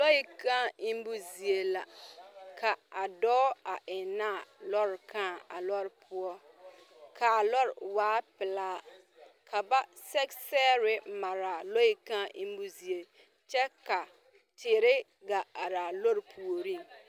Lɔɛ kaa eŋmo zie la ka a dɔɔ eŋnɛ a lɔɔre kaa a lɔɔre poɔ ka lɔɔre waa pelaa ka ba sɛge sɛgre mare a lɔɛ kaa eŋmo zie kyɛ ka eere gaa are a lɔɔre puoriŋ.